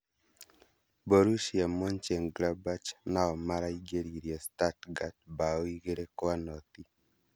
Borussia Monchengladbach nao maraingĩririe Stuttgart mbaũ igĩrĩ kwa noti